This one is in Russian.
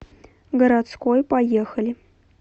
городской поехали